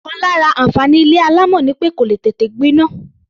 Ọ̀kan lára àǹfààní ilé alámọ̀ ni pé kò lè tètè gbiná.